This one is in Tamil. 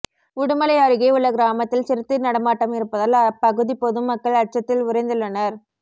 உடுமலை அருகே உள்ள கிராமத்தில் சிறுத்தை நடமாட்டம் இருப்பதால் அப்பகுதி பொதுமக்கள் அச்சத்தில் உறைந்துள்ளனர்